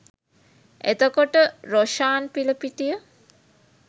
එතකොට රොෂාන් පිලපිටිය?